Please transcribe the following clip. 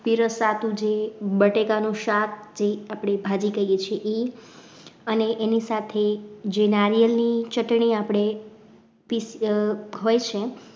પીરસવાનું જે બટેકા નું શાક જે આપણી ભાજી કહીએ છીએ એ અને એની સાથે જે નાળિયેરની ચટણી આપણે હોય છે